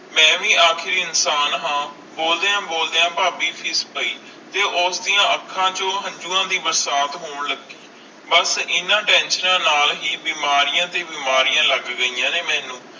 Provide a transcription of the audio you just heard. ਮਈ ਵੇ ਆਖਰ ਇਨਸਾਨ ਹਨ ਬੋਲਦਿਆਂ ਬੋਲਦਿਆਂ ਫਾਬੀ ਫੀਸ ਪੈ ਜੇ ਉਸ ਦੀਆ ਅਣਖ ਚੂ ਹੰਜੁਵਾ ਦੇ ਬਰਸਾਤ ਹੋਣ ਲੱਗੀ ਬਸ ਏਨਾ ਟੇਨਸ਼ਿਓਣਾ ਨਾਲ ਹੈ ਬੀਮਾਰੀਆਂ ਦੇ ਬੀਮਾਰੀਆਂ ਲੱਗ ਗਿਆ ਨੇ ਮੇਨੂ